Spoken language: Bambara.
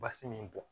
Basi min bɔn